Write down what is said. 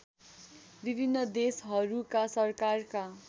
विभिन्न देशहरूका सरकारका